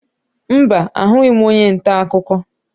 Mba, ahụghị m onye ntaakụkọ